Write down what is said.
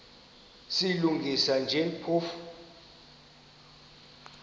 silungisa nje phofu